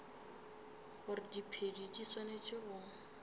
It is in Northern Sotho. gore diphedi di swanetše go